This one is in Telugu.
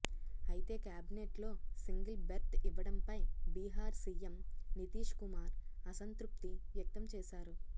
అయితే కేబినెట్లో సింగిల్ బెర్త్ ఇవ్వడంపై బీహార్ సీఎం నితీష్ కుమార్ అసంతృప్తి వ్యక్తం చేశారు